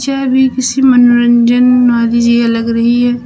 यह भी किसी मनोरंजन वाली जिया लग रही है।